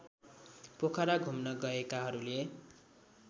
पोखरा घुम्न गएकाहरूले